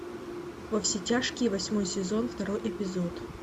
во все тяжкие восьмой сезон второй эпизод